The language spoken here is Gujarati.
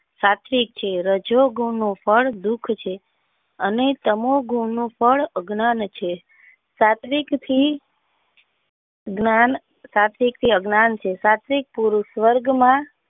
સાત્વિક છે રજોગુણ ફળ દુઃખ છે ને તમો ગન નું ફળ અજ્ઞાન છે સાત્વિક થી જ્ઞાન સાત્વિકછે અજ્ઞાન છે સાત્વિક પુરુષ વર્ગ ના.